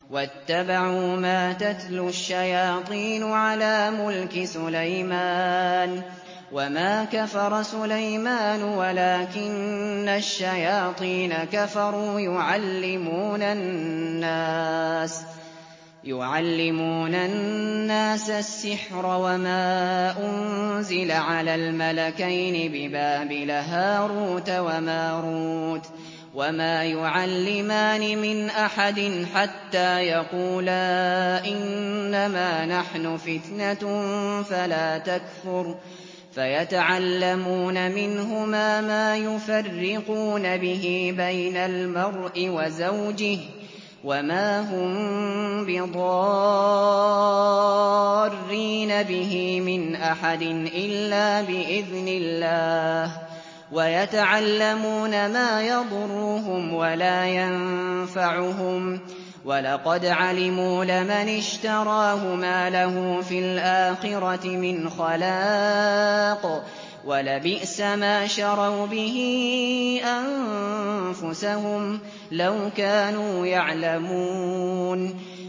وَاتَّبَعُوا مَا تَتْلُو الشَّيَاطِينُ عَلَىٰ مُلْكِ سُلَيْمَانَ ۖ وَمَا كَفَرَ سُلَيْمَانُ وَلَٰكِنَّ الشَّيَاطِينَ كَفَرُوا يُعَلِّمُونَ النَّاسَ السِّحْرَ وَمَا أُنزِلَ عَلَى الْمَلَكَيْنِ بِبَابِلَ هَارُوتَ وَمَارُوتَ ۚ وَمَا يُعَلِّمَانِ مِنْ أَحَدٍ حَتَّىٰ يَقُولَا إِنَّمَا نَحْنُ فِتْنَةٌ فَلَا تَكْفُرْ ۖ فَيَتَعَلَّمُونَ مِنْهُمَا مَا يُفَرِّقُونَ بِهِ بَيْنَ الْمَرْءِ وَزَوْجِهِ ۚ وَمَا هُم بِضَارِّينَ بِهِ مِنْ أَحَدٍ إِلَّا بِإِذْنِ اللَّهِ ۚ وَيَتَعَلَّمُونَ مَا يَضُرُّهُمْ وَلَا يَنفَعُهُمْ ۚ وَلَقَدْ عَلِمُوا لَمَنِ اشْتَرَاهُ مَا لَهُ فِي الْآخِرَةِ مِنْ خَلَاقٍ ۚ وَلَبِئْسَ مَا شَرَوْا بِهِ أَنفُسَهُمْ ۚ لَوْ كَانُوا يَعْلَمُونَ